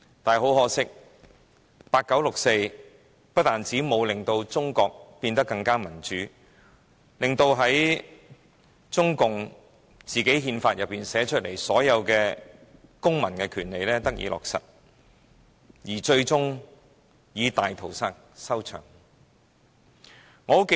但是，很可惜，八九六四沒有令中國變得更民主，沒有令中共寫在憲法中的所有公民權利得以落實，最終以大屠殺收場。